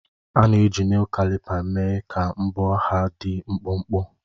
A na-eji Nel klipa mee ka mbọ ha dị mkpụmkpụ